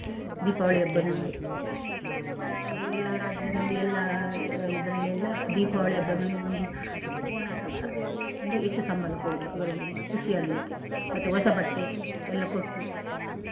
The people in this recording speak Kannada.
ದೀಪಾವಳಿ ಹಬ್ಬದಂದು ಅದು ಎಲ್ಲ ರಾಜ್ಯದಲ್ಲಿ ಎಲ್ಲ ಇದ್ರಲ್ಲಿ ಎಲ್ಲ ದೀಪಾವಳಿ ಹಬ್ಬದಂದು ಒಂದು bonus ಅಂತ ಅಂದ್ರೆ ಹೆಚ್ಚು ಸಂಬಳ ಕೊಡುದು ಅವರಿಗೊಂದು ಖುಷಿ ಆಗ್ಲಿಕ್ಕೆ ಮತ್ತೆ ಹೊಸ ಬಟ್ಟೆ ಎಲ್ಲ ಕೊಟ್ಟು.